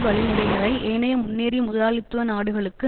வழிமுறைகளை ஏனைய முன்னேறிய முதலாளித்துவ நாடுகளுக்கு